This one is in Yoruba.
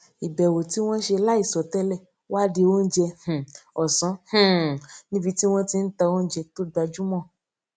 ìbèwò tí wón ṣe láìsọ télè wá di oúnjẹ um òsán um níbi tí wón ti ń ta oúnjẹ tó gbajúmọ